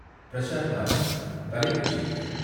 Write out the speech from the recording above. பிரஸார் பாரதி தலைப்புச் செய்திகள்